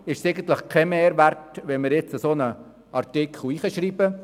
Deshalb entsteht kein Mehrwert, wenn wir jetzt einen solchen Artikel ins Gesetz schreiben.